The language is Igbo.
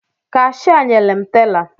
Kashịa nyere m tela